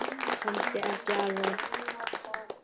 Kannski ekki alveg.